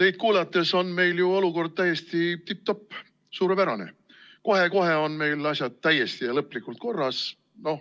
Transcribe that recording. No teid kuulates on meil ju olukord täiesti tipp-topp, suurepärane, kohe-kohe on meil asjad täiesti ja lõplikult korras.